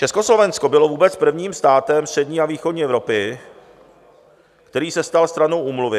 Československo bylo vůbec prvním státem střední a východní Evropy, který se stal stranou úmluvy.